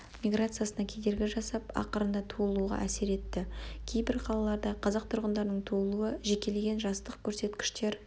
миграциясына кедергі жасап ақырында туылуға әсер етті кейбір қалаларда қазақ тұрғындарының туылуы жекеленген жастық көрсеткіштер